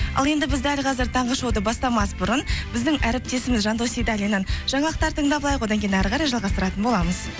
ал енді біз дәл қазір таңғы шоуды бастамас бұрын біздің әріптесіміз жандос сейдалиннен жаңалықтар тыңдап алайық одан кейін әрі қарай жалғастыратын боламыз